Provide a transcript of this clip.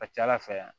A ka ca ala fɛ